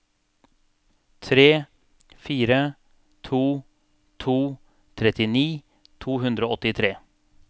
tre fire to to trettini to hundre og åttitre